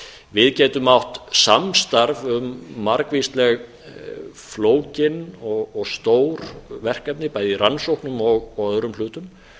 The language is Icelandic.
við getum átt samstarf um margvísleg flókin og stór verkefni bæði í rannsóknum og öðrum hlutum